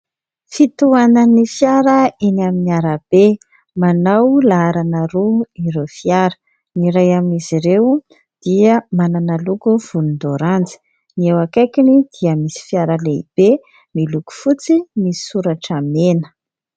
Fitohanan'ny fiara eny amin'ny arabe. Manao laharana roa ireo fiara. Ny iray amin'izy ireo dia manana loko volondaoranjy, ny eo akaikiny dia misy fiara lehibe miloko fotsy misy soratra mena.